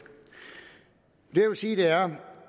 det jeg vil sige er